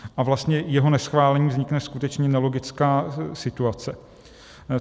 A vlastně jeho neschválením vznikne skutečně nelogická situace.